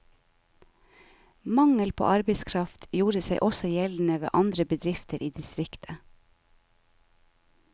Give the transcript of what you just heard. Mangel på arbeidskraft gjorde seg også gjeldende ved andre bedrifter i distriktet.